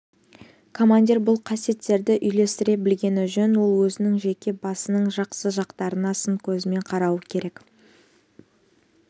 командир бұл қасиеттерді үйлестіре білгені жөн ол өзінің жеке басының жақсы жақтарына сын көзімен қарауы керек